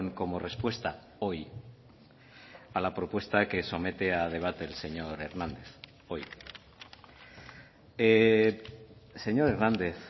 como respuesta hoy a la propuesta que somete a debate el señor hernández hoy señor hernández